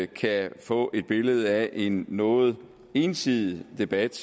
kan få et billede af en noget ensidig debat